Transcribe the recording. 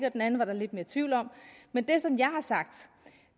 og den anden var der lidt mere tvivl om men